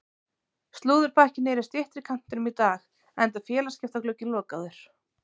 Slúðurpakkinn er í styttri kantinum í dag enda er félagaskiptaglugginn lokaður.